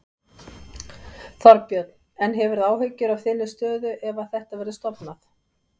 Þorbjörn: En hefurðu áhyggjur af þinni stöðu ef að þetta verður stofnað?